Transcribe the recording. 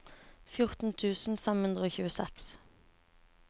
fjorten tusen fem hundre og tjueseks